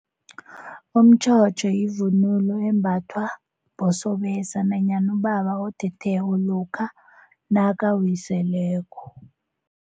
Umtjhotjho yivunulo embathwa bosobese nanyana ubaba othetheko lokha nakawiseleko.